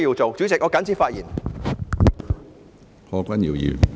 主席，我謹此陳辭。